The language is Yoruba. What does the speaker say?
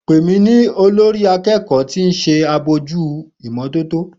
Pe mi ni olori akeeko ti o nse abojuto imototo